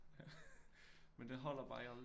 Men det holder bare aldrig